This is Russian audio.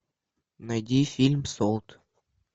найди фильм солт